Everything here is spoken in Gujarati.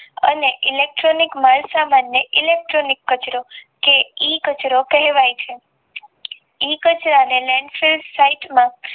અને ઇલેક્ટ્રિનિક માલ સમાનને ઇલેક્ટ્રિનિક કચરો એ કચરો કહેવાય છે એ કચરાને